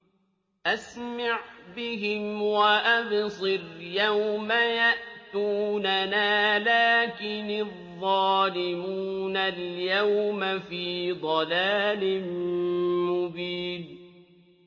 أَسْمِعْ بِهِمْ وَأَبْصِرْ يَوْمَ يَأْتُونَنَا ۖ لَٰكِنِ الظَّالِمُونَ الْيَوْمَ فِي ضَلَالٍ مُّبِينٍ